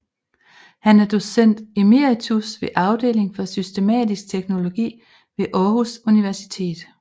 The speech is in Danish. Han er docent emeritus ved Afdeling for Systematisk Teologi ved Aarhus Universitet